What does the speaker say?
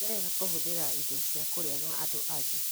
Ti wega kũhũthĩra indo cia kũrĩa na andũ angĩ.